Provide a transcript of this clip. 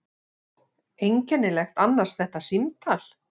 Einkennilegt annars þetta símtal.